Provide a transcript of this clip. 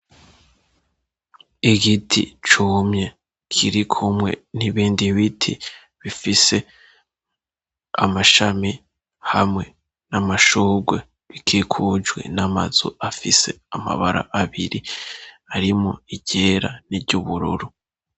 Igiti cumye kiri kumwe n'ibindi biti bifise amashami hamwe n'amashurwe bikikujwe n'amazu afise amabara abiri arimwo iryera n'iry'ubururu.